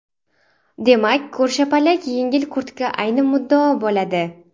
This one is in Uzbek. Demak ko‘rshapalak yengli kurtka ayni muddao bo‘ladi.